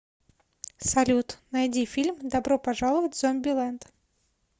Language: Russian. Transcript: салют найди фильм добро пожаловать в зомби лэнд